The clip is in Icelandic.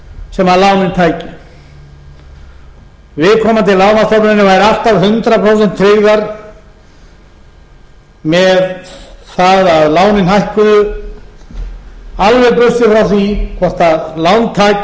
sem lánin tækju viðkomandi lánastofnanir væru alltaf hundrað prósent tryggðar með það að lánin hækkuðu alveg burtséð frá því hvort lántakinn íbúðareigandinn fólkið